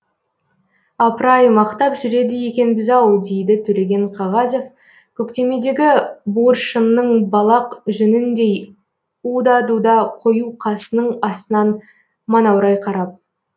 апыр ай мақтап жүреді екенбіз ау дейді төлеген қағазов көктемедегі буыршынның балақ жүніндей уда дуда қою қасының астынан манаурай қарап